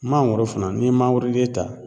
Mangoro fana n'i ye mangoroden ta